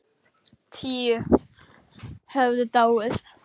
Tíu höfðu dáið.